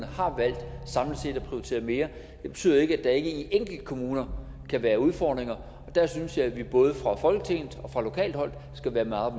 har valgt at prioritere mere det betyder ikke at enkelte kommuner kan være udfordringer og der synes jeg at vi både fra folketingets side og fra lokalt hold skal være meget